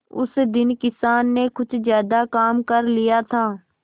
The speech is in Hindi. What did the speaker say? उस दिन किसान ने कुछ ज्यादा काम कर लिया था